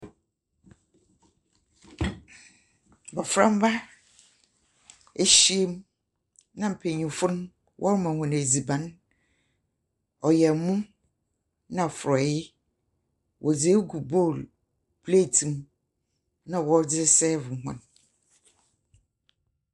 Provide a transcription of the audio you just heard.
Mbɔframba ehyiemu nna mpanyinfo wɔma hɔn edziban ɔyɛ ɛmo nna frɔye wɔdze egu bol plete mu nna wɔdze sɛfo hɔn.